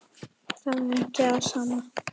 Það er ekki það sama.